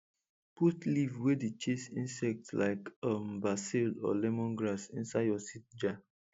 put leaf wey dey chase insect like um basil or lemongrass inside your seed jar